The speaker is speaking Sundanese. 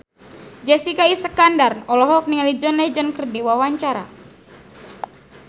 Jessica Iskandar olohok ningali John Legend keur diwawancara